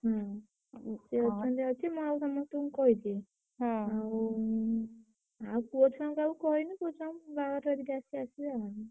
ହୁଁ ସିଏ ମୁଁ ଆଉ ସମସ୍ତଙ୍କୁ କହିଛି। ଆଉ ଆଉ ପୁଅଛୁଆଙ୍କୁ କାହାକୁ କହିନି ପୁଅଛୁଆଙ୍କୁ ବାହାଘର ହରିକା ଅଛି ଆସିବେ ଆଉ।